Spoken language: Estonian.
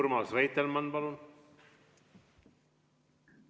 Urmas Reitelmann, palun!